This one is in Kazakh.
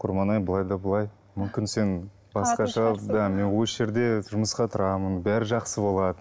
құрманай былай да былай мүмкін сен басқаша да мен осы жерде тұрмысқа тұрамын барлығы жақсы болады